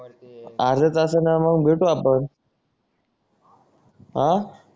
अर्धा तास ना मग भेटू आपण आह